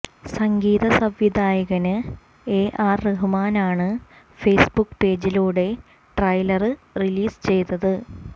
സംഗീത സംവിധായകന് A R റഹ്മാനാണ് Facebook പേജിലൂടെ ട്രൈലര് റിലീസ് ചെയ്തത്